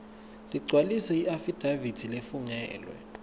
ligcwalise iafidavithi lefungelwe